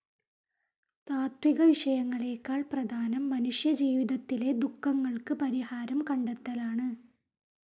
താത്വികവിഷയങ്ങളേക്കാൾ പ്രധാനം മനുഷ്യജീവിതത്തിലെ ദുഃഖങ്ങൾക്ക് പരിഹാരം കണ്ടെത്തലാണ്.